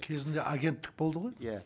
кезінде агенттік болды ғой иә